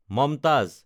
Mumtaz